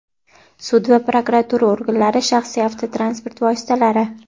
sud va prokuratura organlari shaxsiy avtotransport vositalari;.